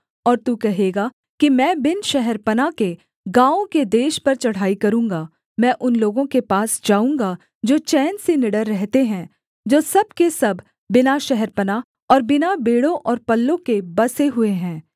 और तू कहेगा कि मैं बिन शहरपनाह के गाँवों के देश पर चढ़ाई करूँगा मैं उन लोगों के पास जाऊँगा जो चैन से निडर रहते हैं जो सब के सब बिना शहरपनाह और बिना बेड़ों और पल्लों के बसे हुए हैं